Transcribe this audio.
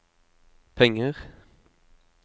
penger